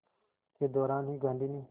के दौरान ही गांधी ने